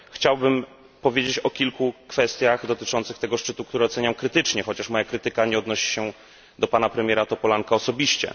Chciałbym powiedzieć o kilku kwestiach dotyczących tego szczytu, które oceniam krytycznie, chociaż moja krytyka nie odnosi się do pana premiera Topolanka osobiście.